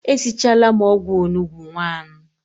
E sichala m ogwu onugbu nwanu